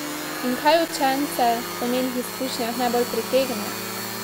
In kaj učence po njenih izkušnjah najbolj pritegne?